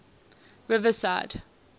riverside